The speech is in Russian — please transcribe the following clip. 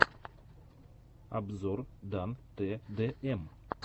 обзор дан тэ дэ эм